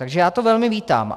Takže já to velmi vítám.